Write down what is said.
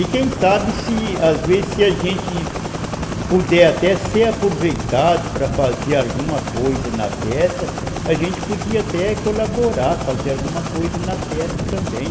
E quem sabe, se, às vezes, se a gente puder até ser aproveitado para fazer alguma coisa na peça, a gente podia até colaborar, fazer alguma coisa na peça também.